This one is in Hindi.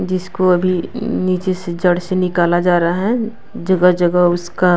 जिसको अभी नीचे से जड़ से निकाला जा रहा है जगह-जगह उसका --